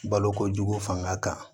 Balokojugu fanga kan